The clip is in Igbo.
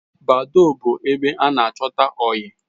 Badoo but ebe ana achota oyi